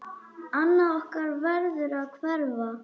Annað okkar verður að hverfa.